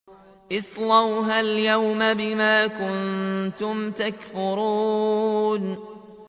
اصْلَوْهَا الْيَوْمَ بِمَا كُنتُمْ تَكْفُرُونَ